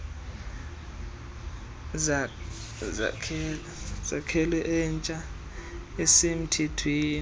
sakhelo entsha esemthethweni